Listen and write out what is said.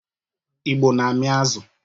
Igbo na-amị azụ.